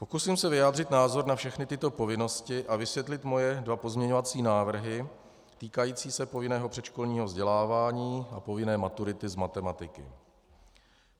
Pokusím se vyjádřit názor na všechny tyto povinnosti a vysvětlit svoje dva pozměňovací návrhy týkající se povinného předškolního vzdělávání a povinné maturity z matematiky.